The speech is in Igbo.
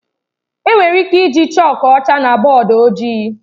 Enwere ike iji chọọku ọcha na bọọdụ ojii.